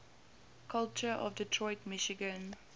culture of detroit michigan